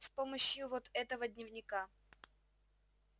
с помощью вот этого дневника